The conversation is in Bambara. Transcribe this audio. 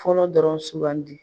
Fɔlɔ dɔrɔn suguugandi